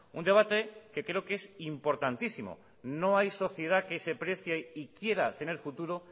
un debate que creo que es importantísimo no hay sociedad que se precie y quiera tener futuro